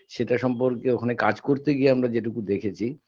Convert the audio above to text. সেটা সম্পর্কে ওখানে কাজ করতে গিয়ে আমরা যেটুকু দেখেছি